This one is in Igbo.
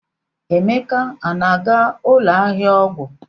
Emeka a na-aga ụlọ ahịa ọgwụ?